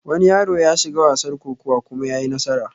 Wani yaro yashiga wasar kokuwa kuma yayi nasara